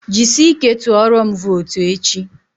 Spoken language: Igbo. Ji sị ike tụọrọm votu echi!